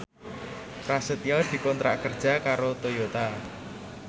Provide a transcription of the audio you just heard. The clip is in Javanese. Prasetyo dikontrak kerja karo Toyota